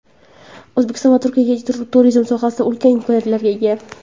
O‘zbekiston va Turkiya turizm sohasida ulkan imkoniyatlarga ega.